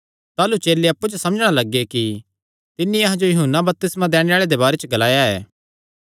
ताह़लू चेले अप्पु च समझणा लग्गे कि तिन्नी अहां जो यूहन्ना बपतिस्मा दैणे आल़े दे बारे च ग्लाया ऐ